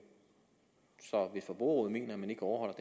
så hvis forbrugerrådet mener at man ikke overholder